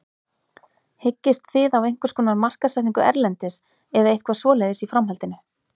Hyggist þið á einhverskonar markaðssetningu erlendis eða eitthvað svoleiðis í framhaldinu?